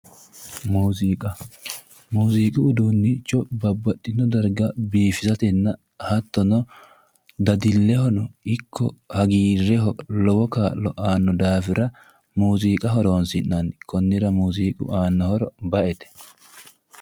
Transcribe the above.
mooziq mooziqu uduunnicho babbaxinnno dargga biifistenna hattono dadillehono ikko hagiirreho kaa'lo aanno daafira muuziqa horoonsi'nanni kunnira mooziiqu aanno horo ba'ete